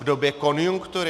V době konjunktury?